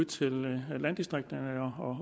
til landdistrikterne